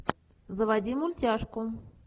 заводи мультяшку